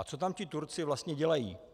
A co tam ti Turci vlastně dělají?